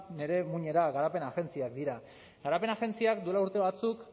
nire muinera garapen agentziak dira garapen agentziak duela urte batzuk